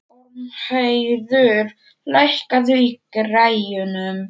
Ormheiður, lækkaðu í græjunum.